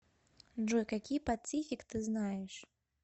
джой какие пацифик ты знаешь